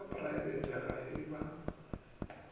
sa praebete ge e ba